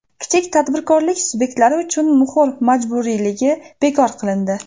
Kichik tadbirkorlik subyektlari uchun muhr majburiyligi bekor qilindi.